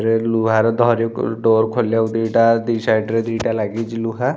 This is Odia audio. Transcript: ରେ ଲୁହାର ଧରିବାକୁ ଡୋର୍‌ ଖୋଲିବାକୁ ଦିଟା ଦି ସାଇଡ ରେ ଦିଟା ଲାଗିଛି ଲୁହା --